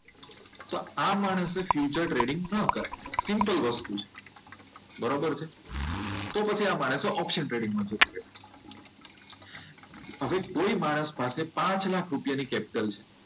તો આ માણસે ફ્યુચર ટ્રેડિંગ ન કરાય સિમ્પલ વસ્તુ છે. બરોબર છે તો આ માણસે ઓપ્શન ટ્રેડિંગ માં જતું રહેવું જોઈએ હવે કોઈ માણસ પાસે પાંચ લાખ રૂપિયા ની કેપિટલ છે.